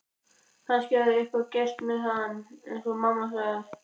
Kannski hafði eitthvað gerst með hann eins og mamma sagði.